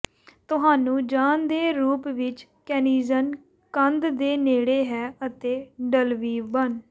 ਤੁਹਾਨੂੰ ਜਾਣ ਦੇ ਰੂਪ ਵਿੱਚ ਕੈਨਿਯਨ ਕੰਧ ਦੇ ਨੇੜੇ ਹੈ ਅਤੇ ਢਲਵੀ ਬਣ